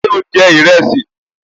Ṣé o jẹ ìrẹsì?